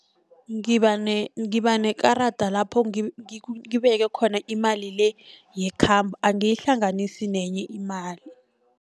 Ngibanekarada lapho ngibeke khona imali le yekhambo angiyihlanganisi nenye imali.